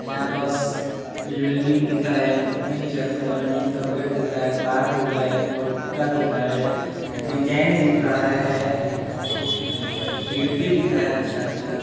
यहाँ पस बिल्डिंग दिख रहा है तीन छत का नीम का पेड़ दिख रहा है तार दिख रहा है पोल खूटा दिख रहा है डिजाइन दिख रहा है खिड़की दिख रहा है अच्छा-अच्छा।